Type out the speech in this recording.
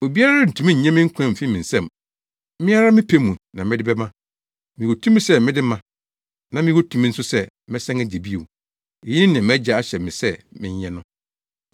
Obiara rentumi nnye me nkwa mfi me nsam. Me ara me pɛ mu na mede bɛma. Mewɔ tumi sɛ mede ma na mewɔ tumi nso sɛ mesan gye bio. Eyi ne nea mʼAgya ahyɛ me sɛ menyɛ no.”